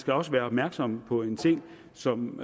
skal også være opmærksomme på en ting som